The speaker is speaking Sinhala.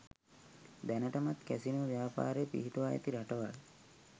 දැනටමත් කැසිනෝ ව්‍යාපාරය පිහිටුවා ඇති රටවල්